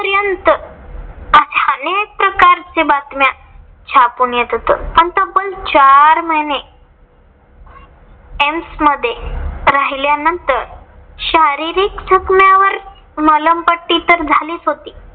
च्या बातम्यात छापून येत होतं. आणि तब्बल चार महिने एम्स मध्ये राहिल्यानंतर शारीरिक दुखण्यावर मलमपट्टी तर झालीच होती.